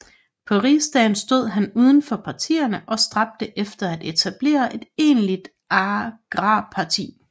På Rigsdagen stod han uden for partierne og stræbte efter at etablere et egentligt agrarparti